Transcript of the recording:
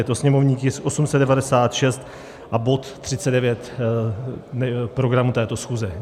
Je to sněmovní tisk 896 a bod 39 programu této schůze.